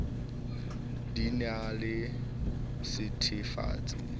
di na le sethethefatsi se